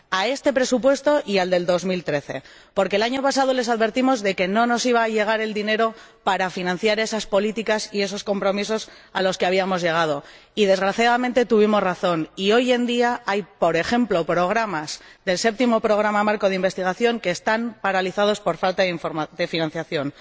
A este presupuesto y al de 2013, porque el año pasado les advertimos de que no nos iba a llegar el dinero para financiar esas políticas y esos compromisos a los que habíamos llegado y, desgraciadamente, tuvimos razón hoy en día hay, por ejemplo, programas del Séptimo Programa Marco de Investigación que están paralizados por falta de financiación.